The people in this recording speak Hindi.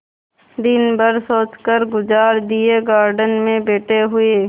दिन भर सोचकर गुजार दिएगार्डन में बैठे हुए